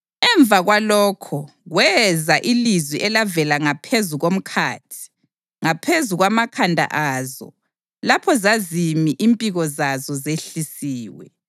Emva kwalokho kweza ilizwi elavela ngaphezu komkhathi ngaphezu kwamakhanda azo lapho zazimi impiko zazo zehlisiwe.